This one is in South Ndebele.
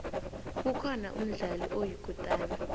kukhona umdlali oyikutana